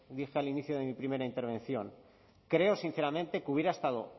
dije al inicio de mi primera intervención creo sinceramente que hubiera estado